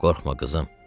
Qorxma, qızım.